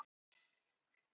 En ekki andartaki lengur.